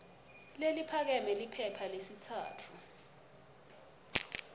leliphakeme liphepha lesitsatfu